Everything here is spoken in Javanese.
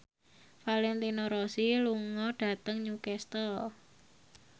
Valentino Rossi lunga dhateng Newcastle